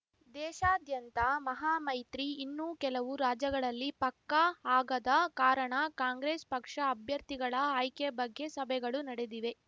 ದೇಶಾದ್ಯಂತ ಮಹಾ ಮೈತ್ರಿ ಇನ್ನೂ ಕೆಲವು ರಾಜ್ಯಗಳಲ್ಲಿ ಪಕ್ಕಾ ಆಗದ ಕಾರಣ ಕಾಂಗ್ರೆಸ್ ಪಕ್ಷ ಅಭ್ಯರ್ಥಿಗಳ ಆಯ್ಕೆ ಬಗ್ಗೆ ಸಭೆಗಳು ನಡೆದಿವೆ